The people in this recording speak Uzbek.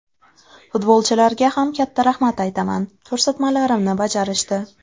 Futbolchilarga ham katta rahmat aytaman, ko‘rsatmalarimni bajarishdi.